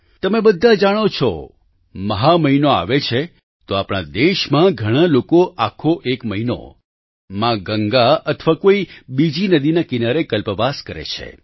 તમે બધા જાણો જ છો મહા મહિનો આવે છે તો આપણા દેશમાં ઘણાં લોકો આખા એક મહિનો મા ગંગા અથવા કોઈ બીજી નદીના કિનારે કલ્પવાસ કરે છે